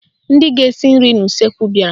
Ndị ga-esi nri n'useekwu bịara